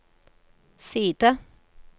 side